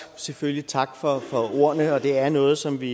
selvfølgelig tak for ordene og det er noget som vi